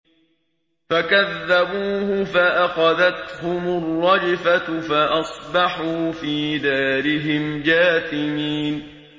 فَكَذَّبُوهُ فَأَخَذَتْهُمُ الرَّجْفَةُ فَأَصْبَحُوا فِي دَارِهِمْ جَاثِمِينَ